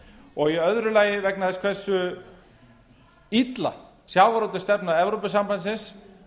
og í öðru lagi vegna þess hversu illa sjávarútvegsstefna evrópusambandsins